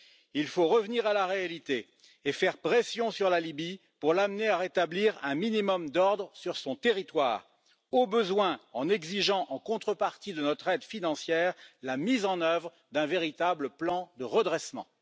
Il faut revenir à la réalité et faire pression sur la Libye pour l'amener à rétablir un minimum d'ordre sur son territoire, au besoin en exigeant en contrepartie de notre aide financière la mise en œuvre d'un véritable plan de redressement.